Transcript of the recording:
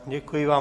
Děkuji vám.